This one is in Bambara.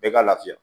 Bɛɛ ka lafiya